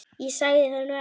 Ég sagði það nú ekki.